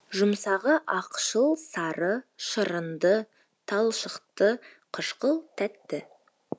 жұмсағы ақшыл сары шырынды талшықты қышқыл тәтті